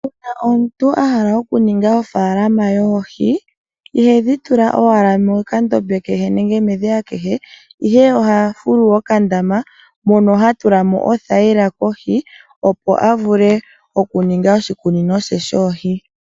Kehe omuntu a hala okuninga ofaalama yoohi ihedhi tula owala mokandama kehe nenge medhiya kehe, ihe oha fulu okandama moka ha tula mo othayila kohi opo a vule okuninga oshikunino she shoohi.